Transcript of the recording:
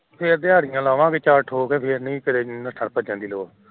ਫੇਰ ਲਾਵਾਂਗੇ ਦਿਹਾੜਿਆਂ ਚਾਰ ਫੇਰ ਨਹੀਂ ਨੱਠਣ ਭੱਜਣ ਦੀ ਲੋੜ